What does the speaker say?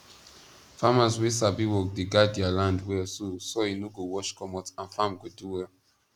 farmers wey sabi work dey guard dea land well so soil no go wash comot and farm go do well